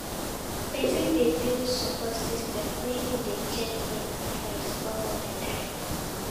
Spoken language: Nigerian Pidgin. Persin de build support system when im de check in on friends all di time